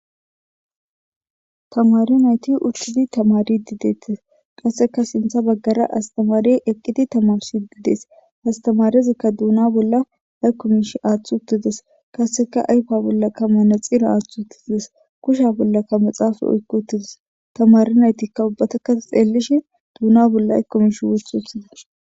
tamari nayti uttidi tamaridi deettes qasseka sintha baggara astamari eqqiti tamarsi gidees astamarezikka duuna bolla haykkumish aaththu uttides kasseka ayfa bollakka manaxira aaththu utiides kusha bollakka maxaafa oykkutides tamari naytikka ubbatakka xeellishi duuna bolla akkumish wothuthide